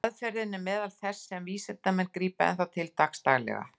Aðferðin er meðal þess sem vísindamenn grípa enn þá til dagsdaglega.